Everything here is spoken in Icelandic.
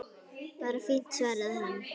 Bara fínt- svaraði hann.